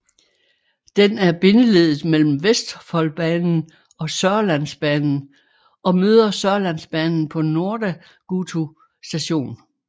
Den er bindeleddet mellem Vestfoldbanen og Sørlandsbanen og møder Sørlandsbanen på Nordagutu station